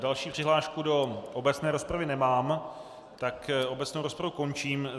Další přihlášku do obecné rozpravy nemám, tak obecnou rozpravu končím.